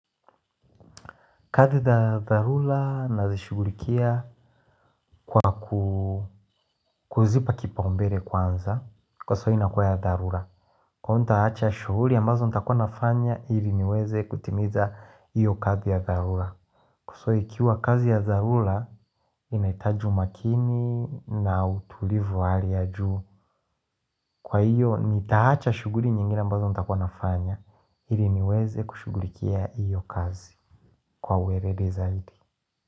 Kazi za dharura nazishugulikia kwa kuzipa kipaumbele kwanza, kwa sababu inakuwa ya dharura. Kwani nitaacha shughuli ambazo ntakua nafanya ili niweze kutimiza hiyo kazi ya dharura. So ikiwa kazi ya dharura inahitaji umakini na utulivu wa hali ya juu Kwa hiyo nitaacha shughuli nyingine ambazo nitakua nafanya ili niweze kushugulikia hiyo kazi kwa uweledi zaidi.